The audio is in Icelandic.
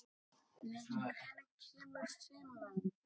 Lýdía, hvenær kemur fimman?